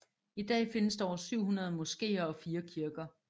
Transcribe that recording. I dag findes der over 700 moskéer og 4 kirker